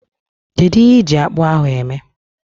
Kedu ihe ịji akpu ahu eme?